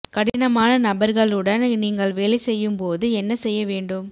கடினமான நபர்களுடன் நீங்கள் வேலை செய்யும் போது என்ன செய்ய வேண்டும்